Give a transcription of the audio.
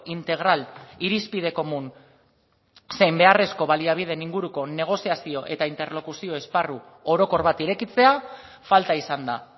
integral irizpide komun zein beharrezko baliabideen inguruko negoziazio eta interlokuzio esparru orokor bat irekitzea falta izan da